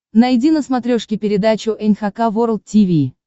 найди на смотрешке передачу эн эйч кей волд ти ви